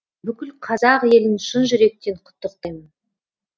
бүкіл қазақ елін шын жүректен құттықтаймын